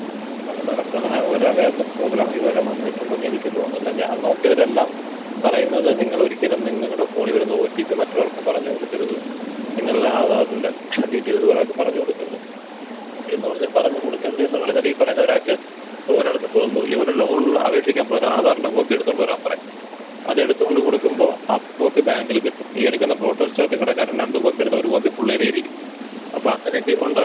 അത് ബലപ്രദമായ ഒരവയെർനെസ് പ്രോഗ്രാം ഇതുവരെ വന്നിട്ടുണ്ടെന്ന് എനിക്ക് തോന്നുന്നില്ല ഞാൻ നോക്കിയവരെല്ലാം പറയുന്നത് നിങ്ങളൊരിക്കലും നിങ്ങടെ ഫോണിൽ വരുന്ന ഓ ട്ടി പ്പി മറ്റൊരാൾക്ക് പറഞ്ഞ് കൊടുക്കരുത് നിങ്ങളുടെ ആധാറിന്റെ ഡീറ്റെയിൽസ് വേറൊരാൾക്ക് പറഞ്ഞ് കൊടുക്കരുത് എന്ന് പറഞ്ഞ് പറഞ്ഞു കൊടുക്കരുത് എന്ന് പറഞ്ഞ ഈ പറയുന്ന ഒരാൾക്ക് പോവുമ്പോ ഈ ഒരു ലോൺന് അപേക്ഷിക്കാൻ പോയാല് ആധാറിന്റെ കോപ്പിയെടുത്തോണ്ട് വരാമ്പറയും അതെടുത്തോണ്ട് കൊടുക്കുമ്പം ആ കോപ്പി ബാങ്കില് കിട്ടും ഈ എടുക്കുന്ന ഫോട്ടോ സ്റ്റാറ്റ് കടക്കാരൻ രണ്ട് കോപ്പി എടുത്താ ഒരു കോപ്പി പുള്ളീടെയിരിക്കും അപ്പൊ അങ്ങനെക്കെ ഒണ്ടാവില്ലെ.